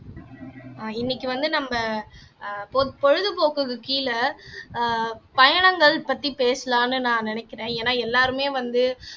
ஆஹ் இன்னைக்கு வந்து நம்ம அஹ் பொது பொழுதுபோக்குக்கு கீழே ஆஹ் பயணங்கள் பத்தி பேசலாம்னு நான் நினைக்கிறேன் ஏன்னா எல்லாருமே வந்து